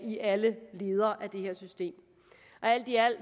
i alle led af det her system alt i alt